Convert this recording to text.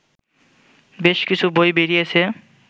বেশ কিছু বই বেরিয়েছে